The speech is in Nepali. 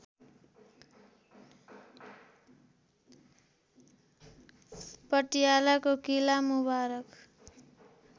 पटियालाको किला मुबारक